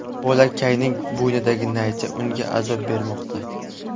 Bolakayning bo‘ynidagi naycha unga azob bermoqda.